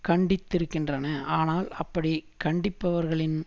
கண்டித்திருக்கின்றன ஆனால் அப்படி கண்டிப்பவர்களின்